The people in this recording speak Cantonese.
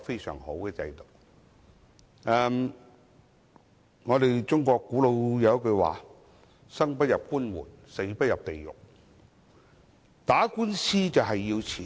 中國有一句古老說話："生不入官門，死不入地獄"，打官司需要花錢。